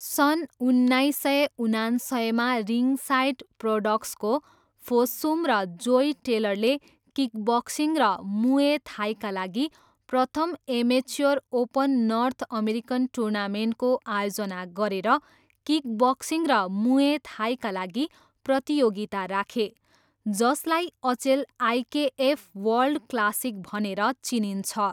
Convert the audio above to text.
सन् उन्नाइस सय उनान्सयमा रिङसाइड प्रोडक्सको फोस्सुम र जोय टेलरले किकबक्सिङ र मुए थाईका लागि प्रथम एमेच्योर ओपन नर्थ अमेरिकन टुर्नामेन्टको आयोजना गरेर किकबक्सिङ र मुए थाईका लागि प्रतियोगिता राखे जसलाई अचेल आइकेएफ वर्ल्ड क्लासिक भनेर चिनिन्छ।